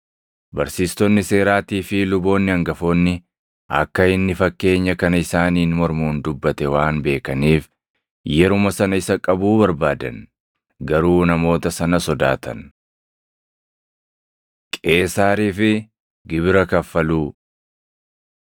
Barsiistonni seeraatii fi luboonni hangafoonni akka inni fakkeenya kana isaaniin mormuun dubbate waan beekaniif yeruma sana isa qabuu barbaadan. Garuu namoota sana sodaatan. Qeesaariif Gibira Kaffaluu 20:20‑26 kwf – Mat 22:15‑22; Mar 12:13‑17